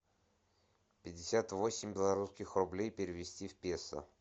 пятьдесят восемь белорусских рублей перевести в песо